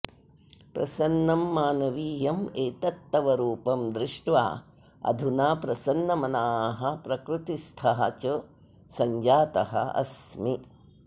प्रसन्नं मानवीयम् एतत् तव रूपं दृष्ट्वा अधुना प्रसन्नमनाः प्रकृतिस्थः च सञ्जातः अस्मि